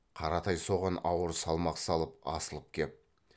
қаратай соған ауыр салмақ салып асылып кеп